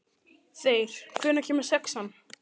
Þeyr, hvenær kemur sexan?